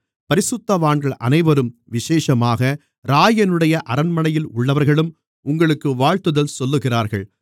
பரிசுத்தவான்கள் அனைவரும் விசேஷமாக இராயனுடைய அரண்மனையில் உள்ளவர்களும் உங்களுக்கு வாழ்த்துதல் சொல்லுகிறார்கள்